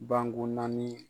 Ban gon naani.